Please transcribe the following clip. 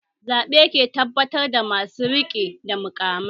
Zaɓe ke tabbatar da masu rike da muƙamai